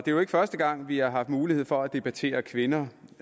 jo ikke første gang vi har haft mulighed for at debattere kvinder